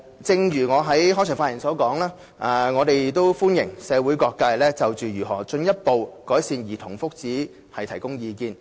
正如我在開場發言所說，我們歡迎社會各界就如何進一步改善兒童福祉提供意見。